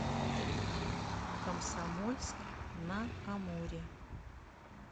комсомольск на амуре